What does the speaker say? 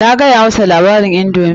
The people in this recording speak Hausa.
Na gaya masa labarin indomi.